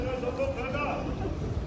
Nə qəşəng oldu qədər.